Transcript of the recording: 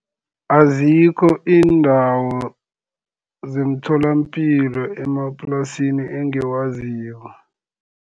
Azikho iindawo zemtholapilo emaplasini engiwaziko.